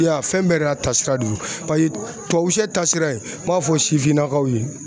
I y'a ye fɛn bɛɛ de y'a ta sira don paseke tubabu sɛ ta sira n b'a fɔ sifinnakaw ye